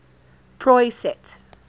proyset